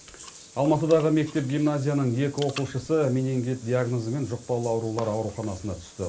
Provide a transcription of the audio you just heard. алматыдағы мектеп гимназияның екі оқушысы менингит диагнозымен жұқпалы аурулар ауруханасына түсті